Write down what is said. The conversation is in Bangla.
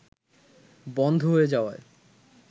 বন্ধ হয়ে যাওয়ায়